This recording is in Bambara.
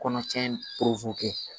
Kɔnɔ cɛn